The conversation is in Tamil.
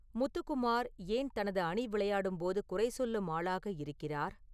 முத்து குமார் ஏன் தனது அணி விளையாடும் போது குறை சொல்லும் ஆளாக இருக்கிறார்